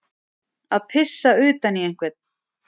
Að pissa utan í einhvern